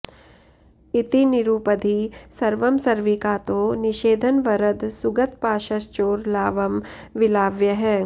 इति निरुपधि सर्वं सर्विकातो निषेधन् वरद सुगतपाशश्चोरलावं विलाव्यः